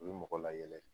O ye mɔgɔ layɛlɛ ye